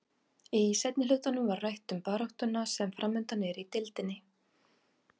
Í seinni hlutanum var rætt um baráttuna sem framundan er í deildinni.